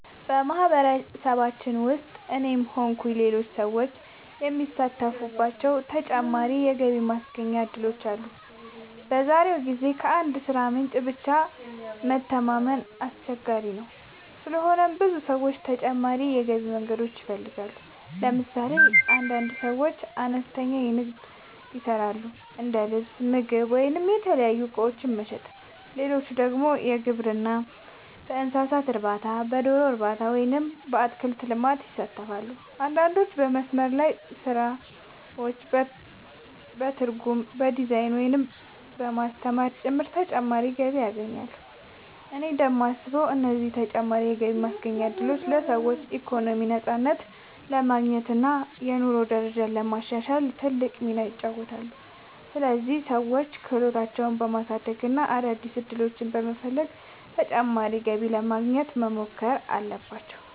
በማህበረሰባችን ውስጥ እኔም ሆንኩ ሌሎች ሰዎች የሚሳተፉባቸው ተጨማሪ የገቢ ማስገኛ እድሎች አሉ። በዛሬው ጊዜ ከአንድ የሥራ ምንጭ ብቻ መተማመን አስቸጋሪ ስለሆነ ብዙ ሰዎች ተጨማሪ የገቢ መንገዶችን ይፈልጋሉ። ለምሳሌ አንዳንድ ሰዎች አነስተኛ ንግድ ይሰራሉ፤ እንደ ልብስ፣ ምግብ ወይም የተለያዩ እቃዎች መሸጥ። ሌሎች ደግሞ በግብርና፣ በእንስሳት እርባታ፣ በዶሮ እርባታ ወይም በአትክልት ልማት ይሳተፋሉ። አንዳንዶች በመስመር ላይ ስራዎች፣ በትርጉም፣ በዲዛይን፣ ወይም በማስተማር ጭምር ተጨማሪ ገቢ ያገኛሉ። እኔ እንደማስበው እነዚህ ተጨማሪ የገቢ ማስገኛ እድሎች ለሰዎች ኢኮኖሚያዊ ነፃነት ለማግኘት እና የኑሮ ደረጃቸውን ለማሻሻል ትልቅ ሚና ይጫወታሉ። ስለዚህ ሰዎች ክህሎታቸውን በማሳደግ እና አዳዲስ ዕድሎችን በመፈለግ ተጨማሪ ገቢ ለማግኘት መሞከር አለባቸው።